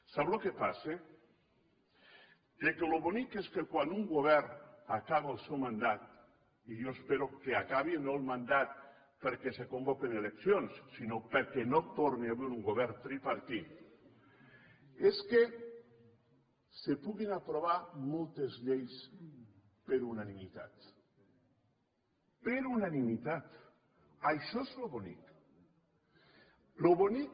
sap què passa que el que és bonic és quan un govern acaba el seu mandat i jo espero que acabi no el mandat perquè es convoquin eleccions sinó perquè no torni a haver un govern tripartit és que es puguin aprovar moltes lleis per unanimitat per unanimitat això és bonic això és bonic